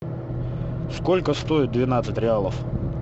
сколько стоит двенадцать реалов